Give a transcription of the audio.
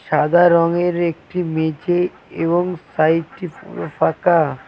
সাদা রংয়ের একটি মেঝে এবং সাইডটি পুরো ফাঁকা।